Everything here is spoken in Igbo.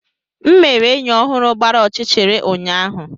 M mere enyi ọhụrụ gbara ọchịchịrị ụnyaahụ.